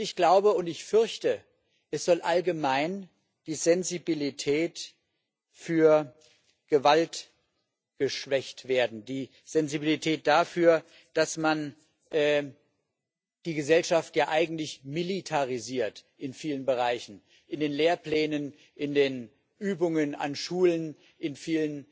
Und ich glaube und fürchte, es soll allgemein die Sensibilität für Gewalt geschwächt werden, die Sensibilität dafür, dass man die Gesellschaft ja eigentlich in vielen Bereichen in den Lehrplänen, in den Übungen an Schulen militarisiert.